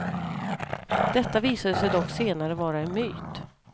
Detta visade sig dock senare vara en myt.